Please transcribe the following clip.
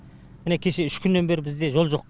міне кеше үш күннен бері бізде жол жоқ